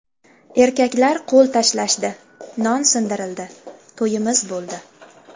Erkaklar qo‘l tashlashdi, non sindirildi, to‘yimiz bo‘ldi.